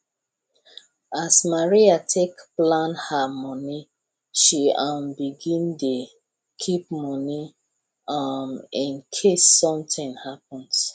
as maria take plan her money she um begin dey keep money um in case something happens